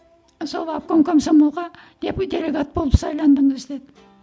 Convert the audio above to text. сол обком комсомолға делегат болып сайландыңыз деді